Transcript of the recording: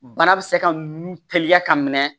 Bana bɛ se ka nun teliya ka minɛ